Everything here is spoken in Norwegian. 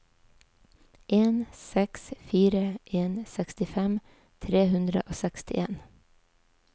en seks fire en sekstifem tre hundre og sekstien